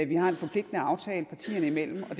vi har en forpligtende aftale partierne imellem og